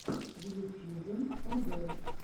в ютьюбе адель